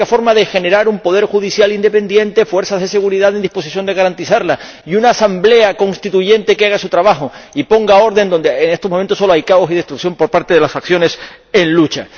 Es la única forma de generar un poder judicial independiente, fuerzas de seguridad en disposición de garantizarlo y una asamblea constituyente que haga su trabajo y ponga orden donde, en estos momentos, solo hay caos y destrucción por parte de las facciones en lucha.